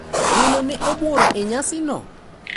Welo ne obuoro e nyasino.